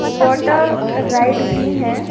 Water ride भी है ।